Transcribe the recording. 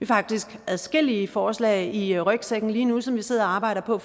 faktisk adskillige forslag i rygsækken lige nu som vi sidder og arbejder på